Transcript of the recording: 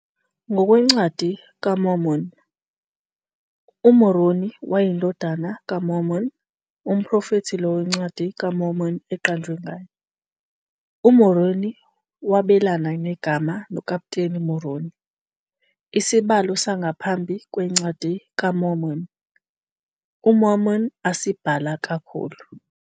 NgokweNcwadi kaMormoni, uMoroni wayeyindodana kaMormoni, umprofethi lowo iNcwadi kaMormoni eqanjwe ngaye. UMoroni wabelana negama noKaputeni Moroni, isibalo sangaphambi kweNcwadi kaMormoni, uMormon asibhala kakhulu.